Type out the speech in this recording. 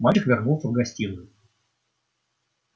мальчик вернулся в гостиную